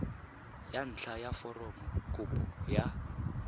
ya ntlha ya foromokopo ya